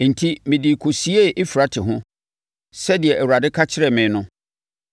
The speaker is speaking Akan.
Enti, mede kɔsiee Eufrate ho, sɛdeɛ Awurade ka kyerɛɛ me no.